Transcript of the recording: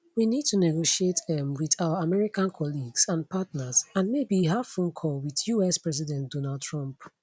we need to negotiate um wit our american colleagues and partners and maybe have phone call wit us president donald trump